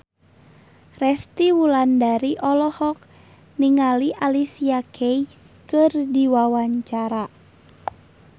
Resty Wulandari olohok ningali Alicia Keys keur diwawancara